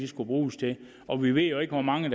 skal bruges til og vi ved jo ikke hvor mange